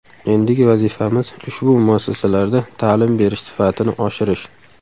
Endigi vazifamiz ushbu muassasalarda ta’lim berish sifatini oshirish.